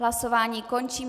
Hlasování končím.